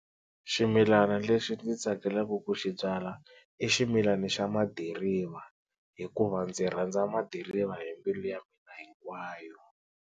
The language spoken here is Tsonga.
Ximilana lexi ndzi tsakelaka ku xi byala i ximilana xa madiriva hikuva ndzi rhandza madiriva hi mbilu ya mina hinkwayo.